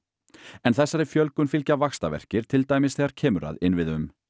en þessari fjölgun fylgja vaxtarverkir til dæmis þegar kemur að innviðum